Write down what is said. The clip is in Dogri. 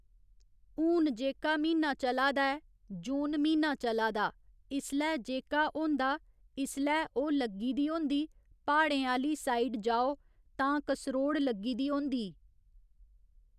हून जेह्का म्हीना चला दा ऐ जून म्हीना चला दा इसलै जेह्का होंदा इसलै ओह् लग्गी दी होंदी प्हाड़ें आह्‌ली साइ़ड जाओ तां कसरोड़ लग्गी दी होंदी